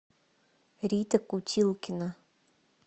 рита кутилкина